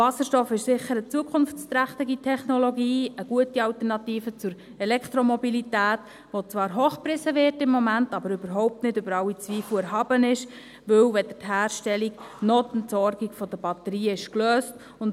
Wasserstoff ist sicher eine zukunftsträchtige Technologie, eine gute Alternative zur Elektromobilität, die zwar hochgepriesen wird im Moment, aber überhaupt nicht über alle Zweifel erhaben ist, weil weder die Herstellung noch die Entsorgung der Batterie gelöst ist.